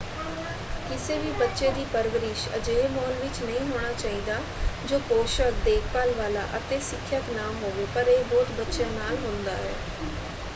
ਕਿਸੇ ਵੀ ਬੱਚੇ ਦੀ ਪਰਵਰਿਸ਼ ਅਜਿਹੇ ਮਾਹੌਲ ਵਿੱਚ ਨਹੀਂ ਹੋਣਾ ਚਾਹੀਦਾ ਜੋ ਪੋਸ਼ਕ ਦੇਖਭਾਲ ਵਾਲਾ ਅਤੇ ਸਿੱਖਿਅਕ ਨਾ ਹੋਵੇ ਪਰ ਇਹ ਬਹੁਤ ਬੱਚਿਆਂ ਨਾਲ ਹੁੰਦਾ ਹੈ।